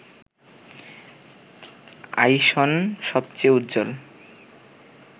আইসন সবচেয়ে উজ্জ্বল